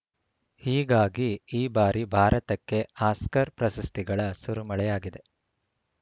ಹೀಗಾಗಿ ಈ ಬಾರಿ ಭಾರತಕ್ಕೆ ಆಸ್ಕರ್‌ ಪ್ರಶಸ್ತಿಗಳ ಸುರಿಮಳೆಯಾಗಿದೆ